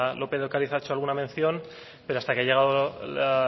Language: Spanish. lópez de ocariz ha hecho alguna mención pero hasta que ha llegado la